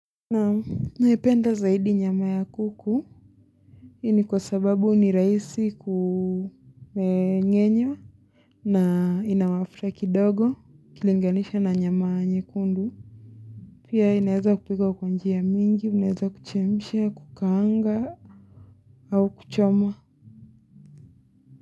Na naipenda zaidi nyama ya kuku hii ni kwa sababu ni rahisi kwenye nyenyu wa na ina mafuta kidogo ikilinganishwa na nyama nyekundu Pia inaeza kupika kwa njia mingi, muneza kuchemshia, kukaanga au kuchomwa.